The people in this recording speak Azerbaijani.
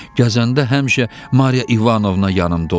Gəzəndə həmişə Mariya İvanovna yanımda olur.